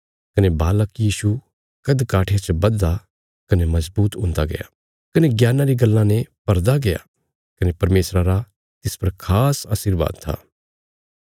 कने बालक यीशु कद काठिया च बधदा कने मजबूत हुन्दा गया कने ज्ञाना री गल्लां ने भरदा गया कने परमेशरा रा तिस पर खास आशीरबाद था